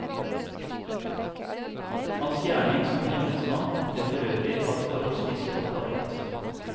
Hans gjerning som embetsmann ble forøvrig av forholdsvis kort varighet.